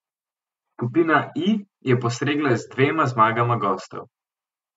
Skupina I je postregla z dvema zmagama gostov.